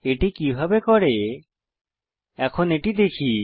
এটি কিভাবে করে এখন এটি দেখি